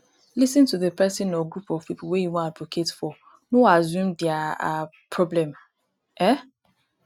lis ten to di person or group of pipo wey you wan advocate for no assume their um problem um